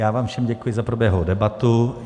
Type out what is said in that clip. Já vám všem děkuji za proběhlou debatu.